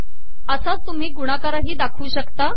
असाच तुमही गुणाकारही दाखवू शकता